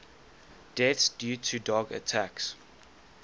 deaths due to dog attacks